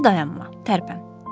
İndi dayanma, tərpən.